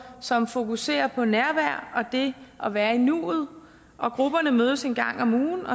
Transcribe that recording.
som fokuserer på nærvær og det at være i nuet grupperne mødes en gang om ugen